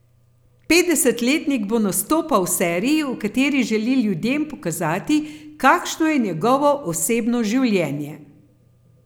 Petdesetletnik bo nastopal v seriji, v kateri želi ljudem pokazati, kakšno je njegovo osebno življenje.